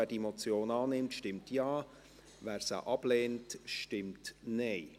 Wer diese Motion annimmt, stimmt Ja, wer sie ablehnt, stimmt Nein.